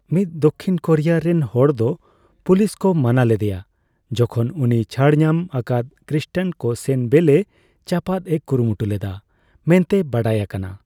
ᱢᱤᱫ ᱫᱚᱠᱠᱷᱤᱱ ᱠᱳᱨᱤᱭᱟ ᱨᱮᱱ ᱦᱚᱲ ᱫᱚ ᱯᱩᱞᱤᱥ ᱠᱚ ᱢᱟᱱᱟ ᱞᱮᱫᱮᱭᱟ ᱡᱮᱠᱷᱚᱱ ᱩᱱᱤ ᱪᱷᱟᱹᱲᱧᱟᱢ ᱟᱠᱟᱫ ᱠᱨᱤᱥᱴᱟᱱ ᱠᱚ ᱥᱮᱱ ᱵᱮᱹᱞᱮᱹ ᱪᱟᱯᱟᱫ ᱮ ᱠᱩᱨᱩᱢᱩᱴᱩ ᱞᱮᱫᱟ ᱢᱮᱱᱛᱮ ᱵᱟᱰᱟᱭ ᱟᱠᱟᱱᱟ ᱾